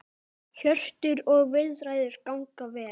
Hjörtur: Og viðræður ganga vel?